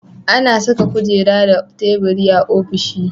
Ana Saka kujera da tabiri a ofishi